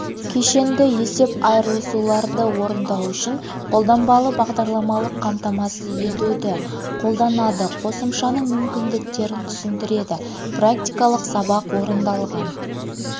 кешенді есеп айырысуларды орындау үшін қолданбалы бағдарламалық қамтамасыз етуді қолданады қосымшасының мүмкіндіктерін түсіндіреді практикалық сабақ орындалған